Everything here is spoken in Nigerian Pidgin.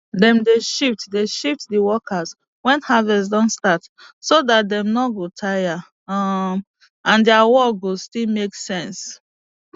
dem dey shift dey shift di workers wen harvest don start so dat dem no go tire um and dia work go still make sense